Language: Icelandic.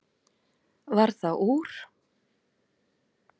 Varð það úr.